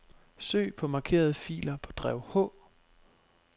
Søg på markerede filer på drev H.